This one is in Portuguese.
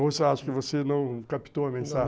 Ou você acha que você não captou a mensagem?